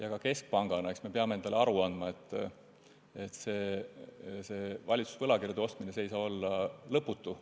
Eks me keskpangana peame endale aru andma, et valitsuse võlakirjade ostmine ei saa kesta lõputult.